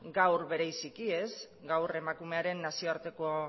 gaur bereziki gaur emakumearen nazioarteko